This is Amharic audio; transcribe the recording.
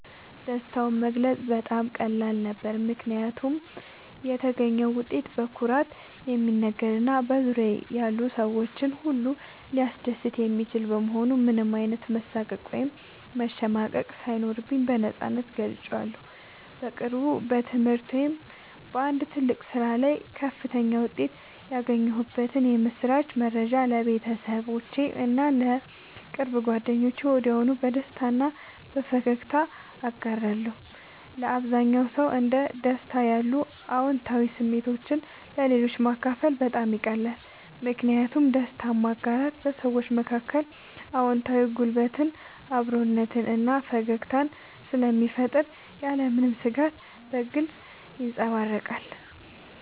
ደስታውን መግለጽ በጣም ቀላል ነበር፦ ምክንያቱም የተገኘው ውጤት በኩራት የሚነገር እና በዙሪያዬ ያሉ ሰዎችን ሁሉ ሊያስደስት የሚችል በመሆኑ ምንም አይነት መሳቀቅ ወይም መሸማቀቅ ሳይኖርብኝ በነፃነት ገልጬዋለሁ። በቅርቡ በትምህርት ወይም በአንድ ትልቅ ስራ ላይ ከፍተኛ ውጤት ያገኘሁበትን የምስራች መረጃ ለቤተሰቦቼ እና ለቅርብ ጓደኞቼ ወዲያውኑ በደስታ እና በፈገግታ አጋርቻለሁ። ለአብዛኛው ሰው እንደ ደስታ ያሉ አዎንታዊ ስሜቶችን ለሌሎች ማካፈል በጣም ይቀላል። ምክንያቱም ደስታን ማጋራት በሰዎች መካከል አዎንታዊ ጉልበትን፣ አብሮነትን እና ፈገግታን ስለሚፈጥር ያለምንም ስጋት በግልጽ ይንጸባረቃል።